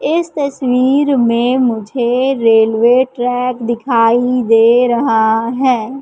इस तस्वीर में मुझे रेलवे ट्रैक दिखाई दे रहा है।